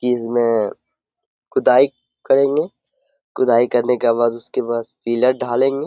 किसमें खुदाई करेंगे कुदाई करने के बाद उसके बास पिलर ढालेंगे।